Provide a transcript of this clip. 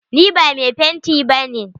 Ni ba mai fenti ba ne.